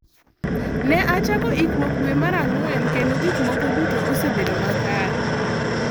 Ne achako ikruok dwe mar Ang’wen kendo gik moko duto osebedo makare.